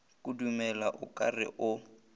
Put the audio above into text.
kudumela o ka re o